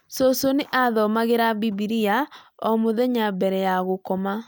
Cũcũ nĩ athomagira Bibilia o mũthenya mbere ya gũkoma